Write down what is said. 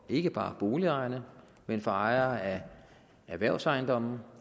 ikke bare for boligejerne men for ejere af erhvervsejendomme